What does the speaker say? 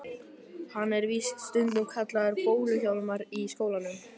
Hann er víst stundum kallaður Bólu-Hjálmar í skólanum.